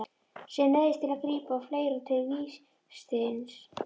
Sem neyðist til að grípa og fleygir honum til Vésteins.